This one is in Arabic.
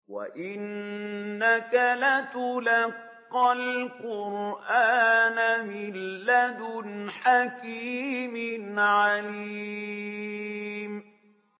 وَإِنَّكَ لَتُلَقَّى الْقُرْآنَ مِن لَّدُنْ حَكِيمٍ عَلِيمٍ